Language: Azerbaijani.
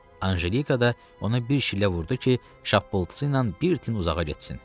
Anjelika da ona bir şillə vurdu ki, şappıltısı ilə bir tin uzağa getsin.